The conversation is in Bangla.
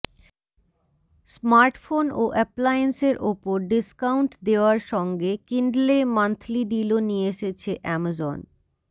স্মার্টফোন ও অ্যাপ্লায়েন্সের ওপর ডিস্কাউন্ট দেওয়ার সঙ্গে কিন্ডলে মান্থলি ডিলও নিয়ে এসেছে অ্যামাজন